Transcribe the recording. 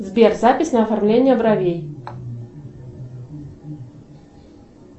сбер запись на оформление бровей